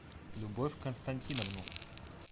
любовь константиновну